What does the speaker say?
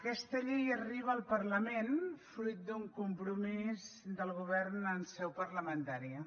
aquesta llei arriba al parlament fruit d’un compromís del govern en seu parlamentària